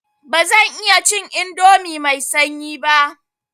Ba zan iya cin indomi mai sanyi ba.